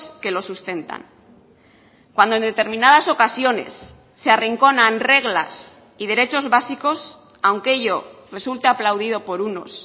que lo sustentan cuando en determinadas ocasiones se arrinconan reglas y derechos básicos aunque ello resulte aplaudido por unos